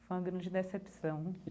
Foi uma grande decepção.